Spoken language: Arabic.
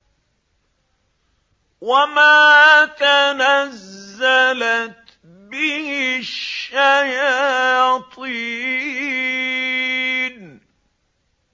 وَمَا تَنَزَّلَتْ بِهِ الشَّيَاطِينُ